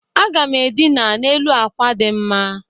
Aga m edina n'elu akwa dị mma.